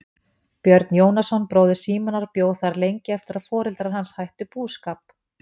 Björn Jónasson bróðir Símonar bjó þar lengi eftir að foreldrar hans hættu búskap.